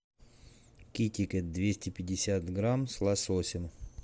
китикет двести пятьдесят грамм с лососем